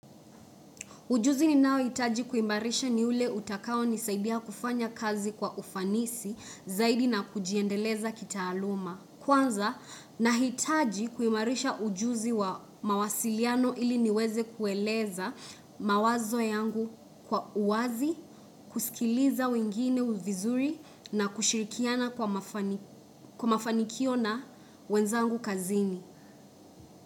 Ujuzi ni nao hitaji kuimarisha ni ule utakao nisaidia kufanya kazi kwa ufanisi zaidi na kujiendeleza kita aluma. Kwanza na hitaji kuimarisha ujuzi wa mawasiliano ili niweze kueleza mawazo yangu kwa uwazi, kusikiliza wengine vizuri na kushirikiana kwa mafanikio na wenzangu kazini.